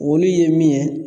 Olu ye min ye